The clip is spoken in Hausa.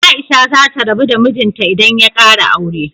Aisha za ta rabu da mijinta idan ya kara aure.